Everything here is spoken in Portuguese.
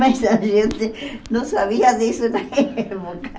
Mas a gente não sabia disso na época.